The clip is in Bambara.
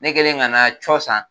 Ne kɛlen ka n ka cɔ san